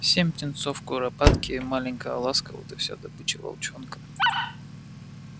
семь птенцов куропатки и маленькая ласка вот и вся добыча волчонка